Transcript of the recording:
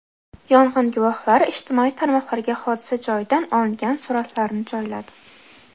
Yong‘in guvohlari ijtimoiy tarmoqlarga hodisa joyidan olingan suratlarni joyladi.